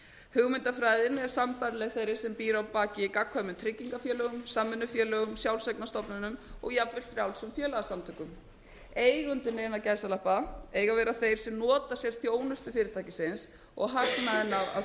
hugmyndafræðin er sambærileg fyrri sem býr á baki í gagnkvæmum tryggingafélögum samvinnufélögum sjálfseignarstofnunum og jafnvel frjálsum félagasamtökum eigendur innan gæsalappa eiga að vera þeir sem nota sér þjónustu fyrirtækisins og hagnaðinn á